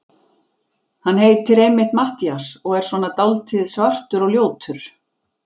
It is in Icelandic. Hann heitir einmitt Matthías og er svona dáldið svartur og ljótur.